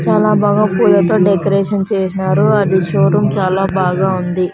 చాలా బాగా పూజతో డెకరేషన్ చేస్నారు అది షోరూం చాలా బాగా ఉంది.